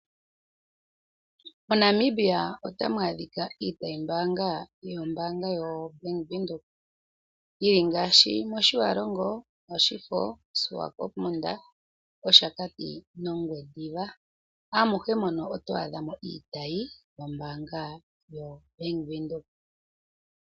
MoNamibia otamu adhika iitayi mbanga yombanga yobank windhoek yili ngaashi motjiwarongo, moshifo, swakopmund, oshakati nongwediva amuhe mono oto adha mo iitayi yombanga yobank windhoek.